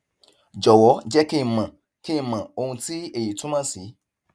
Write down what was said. jọwọ jẹ kí n mọ kí n mọ ohun tí èyí túmọ sí